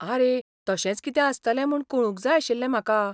आरे, तशेंच कितें आसतलें म्हूण कळूंक जाय आशिल्लें म्हाका.